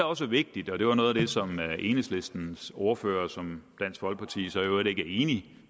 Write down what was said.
også er vigtigt og det var noget af det som enhedslistens ordfører som dansk folkeparti så i øvrigt ikke er enig